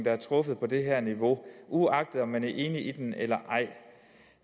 er truffet på det her lokale niveau uagtet om man er enig i den eller ej